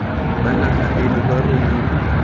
ba naga eno ba romile